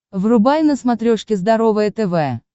врубай на смотрешке здоровое тв